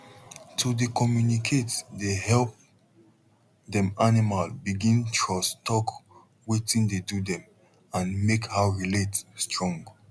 to dey communicate dey help dem animal begin trusttalk wetin dey do dem and make how relate strong